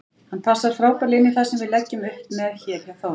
Hann passar frábærlega inní það sem við leggjum upp með hér hjá Þór.